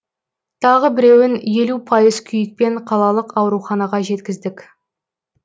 тағы біреуін елу пайыз күйікпен қалалық ауруханаға жеткіздік